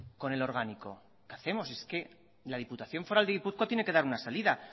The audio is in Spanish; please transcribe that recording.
con el orgánico qué hacemos es que la diputación foral de guipúzcoa tiene que dar una salida